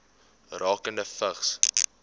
rakende vigs